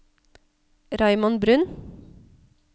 Raymond Bruun